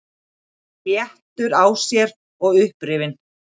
Léttur á sér og upprifinn.